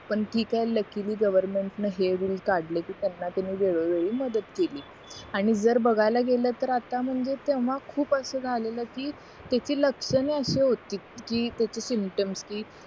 पण ठीक आहे लकीली गवरमेन्ट ने रुल काढले कि त्यांना तुम्ही वेळो वेळी मदत केली आणि जर बघायला गेला तर आता म्हणजे तेव्हा खूप असं झालेलं कि त्याची लक्षणे अशी होती कि त्याची सिम्टमस